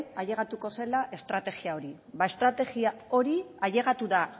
ailegatuko zela estrategia hori ba estrategia hori ailegatu da